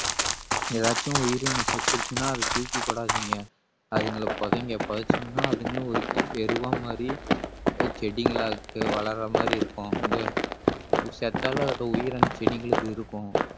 ஏதாச்சும் உயிரினம் செத்துருச்சுன்னா அத தூக்கிப் போடாதீங்க அதுங்களை புதைங்க புதைச்சீங்கன்னா அதுங்களும் ஒரு எ~ எருவா மாதிரி செடிங்களா இருக்கு வளர்ற மாதிரி இருக்கும் வந்து செத்தாலும் அதோட உயிர் அந்த செடிங்களுக்கு இருக்கும்